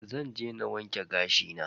Zan je wanke gashi na.